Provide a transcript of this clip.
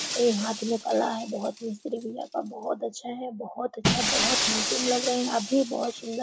ये हाथ में कला है बहो मिस्त्री भईया का बहोत अच्छा है बहोत अच्छा बहोत हैंडसम लग रहे है आप भी बहोत सुन्दर--